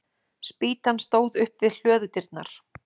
Spýtan stóð upp við hlöðudyrnar.